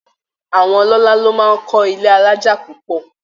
Àwọn ọlọ́lá ló máa ń kọ́ ilé alájà púpọ̀